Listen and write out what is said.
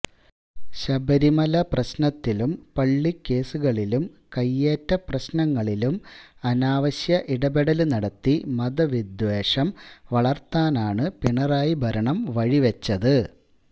ശബരിമല പ്രശ്നത്തിലും പള്ളി കേസുകളിലും കയ്യേറ്റ പ്രശ്നങ്ങളിലും അനാവശ്യ ഇടപെടല് നടത്തി മതവിദ്വേ്യഷം വളര്ത്താനാണ് പിണറായി ഭരണം വഴിവെച്ചത്